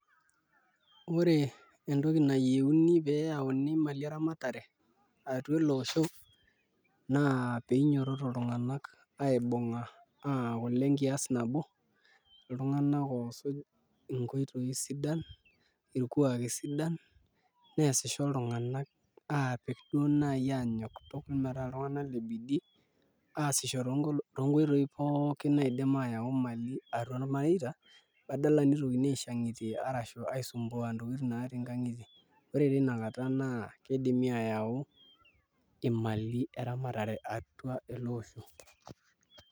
Ore entoki nayieuni pee eyauni imali eramatare atua ele osho naa pee inyiototo iltung'anak aibung'a aaku ile nkiaas nabo, iltung'anak oosuj enkoitoi sidan irkuaki sidan neesisho iltung'anak aapik duo naai aanyok tukul metaa iltung'anak le bidii aasisho toonkoitoi pookin naidim aayau imali atua irmareita badala nitokini aishang'itie arashu aisumbua ntokitin naatii nkang'itie, ore tina kata naa kidimi aayau imali eramatare ata ele osho.